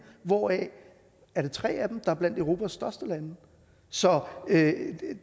hvoraf tre af dem er blandt europas største lande så